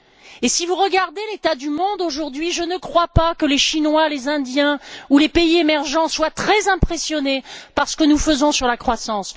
Et si vous regardez l'état du monde aujourd'hui, je ne crois pas que les Chinois, les Indiens ou les pays émergents soient très impressionnés par ce que nous faisons sur la croissance.